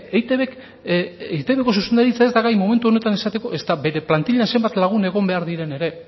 eitbk eitbko zuzendaritza ez da gai momentu honetan esateko ezta bere plantilan zenbat lagun egon behar diren ere